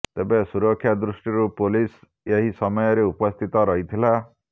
ତେବେ ସୁରକ୍ଷା ଦୃଷ୍ଟିରୁ ପୋଲିସ ଏହି ସମୟରେ ଉପସ୍ଥିତ ରହିଥିଲା